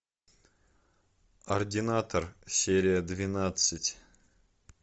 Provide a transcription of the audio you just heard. ординатор серия двенадцать